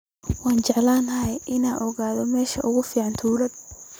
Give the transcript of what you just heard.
Waxaan jeclaan lahaa inaan ogaado meesha ugu fiican tuulada